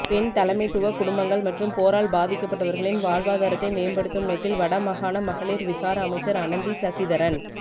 பெண் தலைமைத்துவ குடும்பங்கள் மற்றும் போரால் பாதிக்கப்பட்டவர்களின் வாழ்வாதாரத்தை மேம்படுத்தும் நோக்கில் வடமாகாண மகளிர் விகார அமைச்சர் அனந்தி சசிதரன்